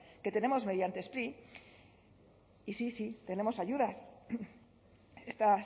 que tenemos mediante spri y sí sí tenemos ayudas está